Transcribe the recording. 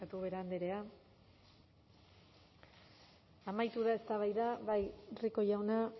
ubera andrea amaitu da eztabaida bai rico jauna